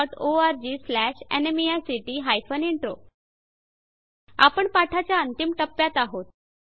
httpspoken tutorialorgNMEICT Intro आपण पाठाच्या अंतिम टप्प्यात आहोत